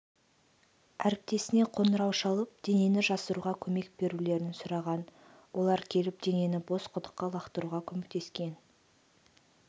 әріптесіне қоңырау шалып денені жасыруға көмек берулерін сұраған олар келіп денені бос құдыққа лақтыруға көмектескен